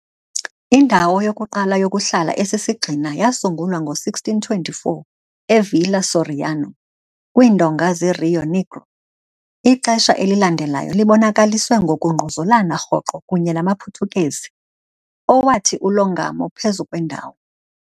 Indawo yokuqala yokuhlala esisigxina yasungulwa ngo-1624 e- Villa Soriano, kwiindonga zeRio Negro. Ixesha elilandelayo libonakaliswe ngokungquzulana rhoqo kunye namaPhuthukezi, owathi ulongamo phezu kwendawo.